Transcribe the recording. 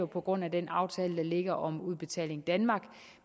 på grund af den aftale der ligger om udbetaling danmark